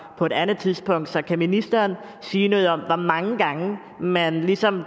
på et andet tidspunkt så kan ministeren sige noget om hvor mange gange man ligesom